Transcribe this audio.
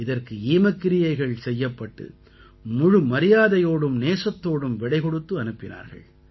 இதற்கு ஈமக்கிரியைகள் செய்யப்பட்டு முழு மரியாதையோடும் நேசத்தோடும் விடை கொடுத்து அனுப்பினார்கள்